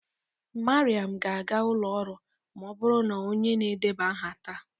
Mariam ga-aga ụlọ ọrụ ma ọ bụrụ na onye na-edeba aha taa.